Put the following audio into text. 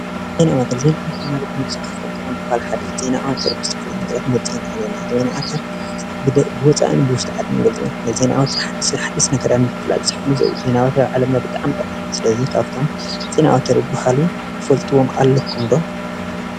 ዜና ዓወት ፦ ዜና ዓወት ማለት ንወዲ ሰብ ካብቶም ጥዑማት ዜና ሓደ እዩ። ዜና ዓወት ብዝተፈላለዩ ነገራት ክንገልፃ ንኽእል ኢና። ዜና ዓወት ብወፃእን ብውሽጢ ዓድን ክንገልፃ ንኽእል ኢና። ዜና ዓወት ሓደሽቲ ነገራት ንምፍላጥ ዝሕግዞ እዩ። ዜና ዓወት ብጣዓሚ ጠቓሚ እዩ። ስለዚ ካብቶም ዜና ዓወት ዝባሃሉ ትፈልጥዎም ኣለኩም ዶ?